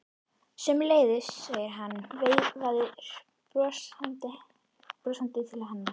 Sömuleiðis, segir hann og veifar brosandi til hennar.